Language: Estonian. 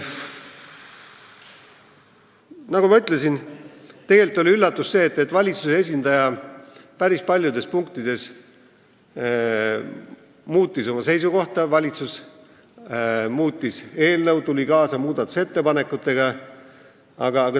Nagu ma ütlesin, üllatus oli see, et valitsus päris paljudes punktides muutis oma seisukohta, ta muutis eelnõu ja tuli kaasa muudatusettepanekutega.